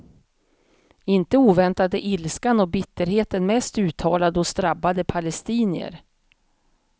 Inte oväntat är ilskan och bitterheten mest uttalad hos drabbade palestinier.